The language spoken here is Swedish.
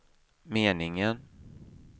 meningen